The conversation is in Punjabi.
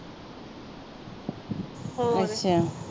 ਹੋਰ